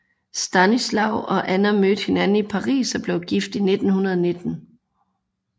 Stanisław og Anna mødte hinanden i Paris og blev gift i 1919